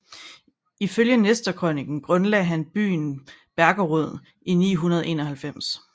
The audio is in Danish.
Ifølge Nestorkrøniken grundlagde han byen Belgorod i 991